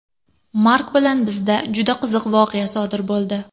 Mark bilan bizda juda qiziq voqea sodir bo‘ldi.